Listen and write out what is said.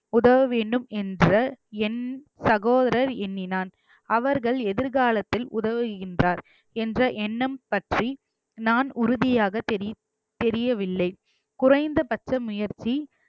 உதவ வேண்டும் என்ற என்~ சகோதரர் எண்ணினான் அவர்கள் எதிர்காலத்தில் உதவுகின்றார் என்ற எண்ணம் பற்றி நான் உறுதியாக தெரிய~ தெரியவில்லை குறைந்தபட்ச முயற்சி